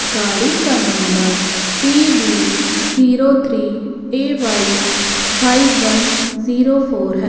गाड़ी का number P B zero three A Y five one zero four है।